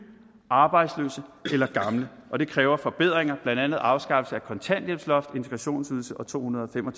arbejdsløse eller gamle og det kræver forbedringer blandt andet afskaffelse af kontanthjælpsloft integrationsydelse og to hundrede og fem og